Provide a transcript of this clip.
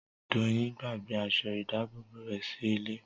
Doyin gbàgbé aṣọ ìdábòbò rẹ̀ sí ilé